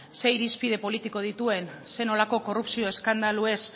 zein irizpide politiko dituen zer nolako korrupzio eskandaluez